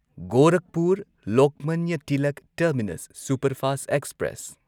Gorakhpur Lokmanya Tilak terminus superfast express